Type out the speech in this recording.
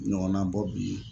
Ɲɔgɔnna bɔ bi